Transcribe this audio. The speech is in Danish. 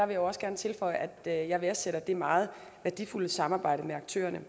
vil også gerne tilføje at jeg værdsætter det meget værdifulde samarbejde med aktørerne